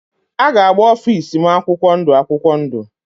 A ga-agba ofịs m akwụkwọ ndụ akwụkwọ ndụ.